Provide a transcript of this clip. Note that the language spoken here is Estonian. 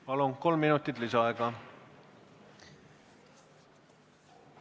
Palun, kolm minutit lisaaega!